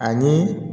Ani